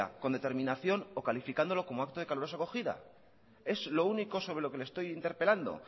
con determinación o calificándolo como acto de calurosa acogida es lo único sobre lo que le estoy interpelando